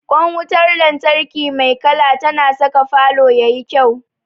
Ƙwan wutar lantarki mai kala tana saka falo ya yi kyau.